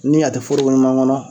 Ni a te foroko ɲuman kɔnɔ